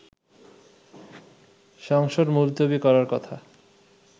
সংসদ মুলতবি করার কথা